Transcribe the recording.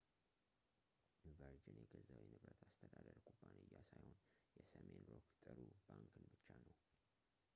ቨርጅን የገዛው የንብረት አስተዳደር ኩባንያ ሳይሆን የሰሜን ሮክ ጥሩ ባንክን ብቻ ነው